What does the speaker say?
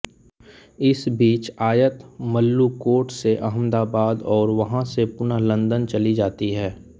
इस बीच आयत मल्लुकोट से अहमदाबाद और वहाँ से पुनः लंदन चली जाती है